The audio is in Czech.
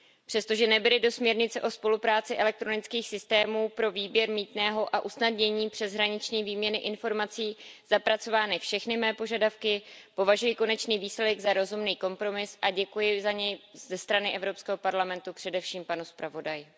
Přestože nebyly do směrnice o spolupráci elektronických systémů pro výběr mýtného a usnadnění přeshraniční výměny informací zapracovány všechny moje požadavky, považuji konečný výsledek za rozumný kompromis a děkuji za něj ze strany Evropského parlamentu především panu zpravodaji.